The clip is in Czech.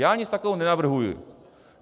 Já nic takového nenavrhuji.